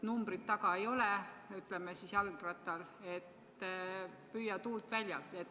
Numbrit jalgrattal taga ei ole, nii et püüa tuult väljal.